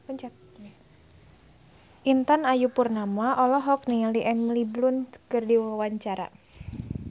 Intan Ayu Purnama olohok ningali Emily Blunt keur diwawancara